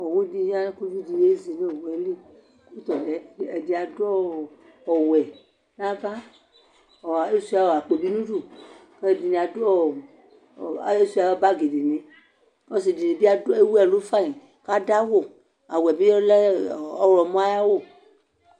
Owʋdi ya kʋ ividi yezi nʋ owʋeli kʋ ɛdi adʋ awʋvɛ nʋ ava asuia akpo bi nʋ udʋ kʋ ɛdini asʋ bagi dini ɔsidi bi ewʋ ɛlʋ fanyi kʋ adʋ awʋ awʋ yɛ bilɛ ɔwlɔmɔ ayʋ awʋ